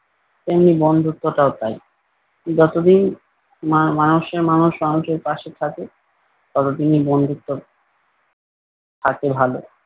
তেমনি বন্ধুত্বটাও তাই। যতদিন মা মানুষের মানুষ মানুষের পাশে থাকে ততদিনই বন্ধুত্ব থাকে ভালো।